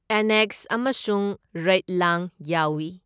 Annex ꯑꯃꯁꯨꯡ ꯔꯩꯢꯠꯂꯥꯡ ꯌꯥꯎꯏ꯫